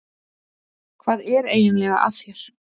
Hvað er eiginlega að þér?